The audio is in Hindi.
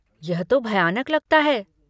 यह तो भयानक लगता है।